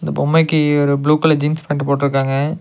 பொம்மைக்கி ஒரு blue colour jeans pant போட்ருக்காங்க.